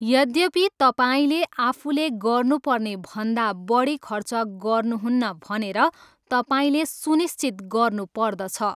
यद्यपि, तपाईँले आफूले गर्नुपर्नेभन्दा बढी खर्च गर्नुहुन्न भनेर तपाईँले सुनिश्चित गर्नुपर्दछ।